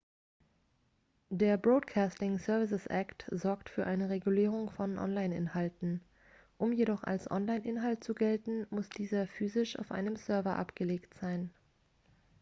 der broadcasting services act sorgt für eine regulierung von online-inhalten um jedoch als online-inhalt zu gelten muss dieser physisch auf einem server abgelegt sein